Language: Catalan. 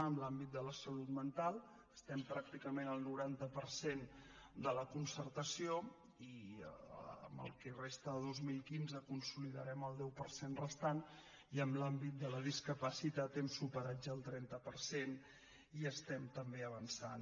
en l’àmbit de la salut mental estem pràcticament al noranta per cent de la concertació i en el que resta de dos mil quinze consolidarem el deu per cent restant i en l’àmbit de la discapacitat hem superat ja el trenta per cent i hi estem també avançant